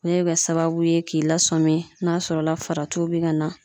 sababu ye k'i lasɔmi n'a sɔrɔ la faratiw bɛ ka na.